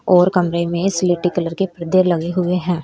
और कमरे में स्लेटी कलर के परदे लगे हुए हैं।